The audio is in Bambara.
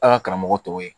A ka karamɔgɔ tɔw ye